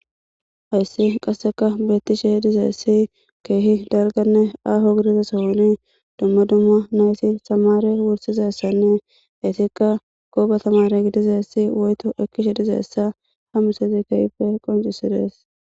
Hayssi qasseka beettishe h dizeessi keehi dalganne aaho gidizasawoni dumma dumma naysi samare wursizessanne hesikka gooba tamare gidizeessi woyto ekkishe dizeessa hamusezi keehppe qoncisides.